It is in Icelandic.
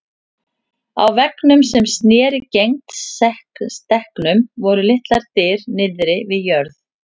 Á veggnum sem sneri gegnt stekknum voru litlar dyr niðri við jörð.